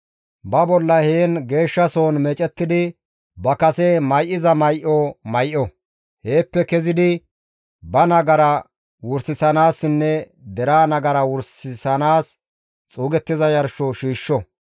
Ba bolla heen geeshshasohon meecettidi ba kase may7iza may7o; heeppe kezidi ba nagara wursanaassinne deraa nagara wursanaas xuugettiza yarsho shiishsho.